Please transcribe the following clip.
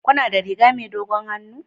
Kuna da rigar dogon hannu?